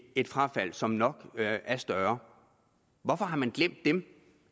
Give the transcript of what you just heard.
et frafald som nok er større hvorfor har man glemt dem